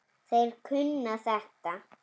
Þeir kunna þetta.